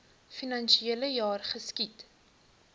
finansiele jaar geskied